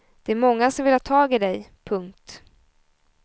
Det är många som vill ha tag i dig. punkt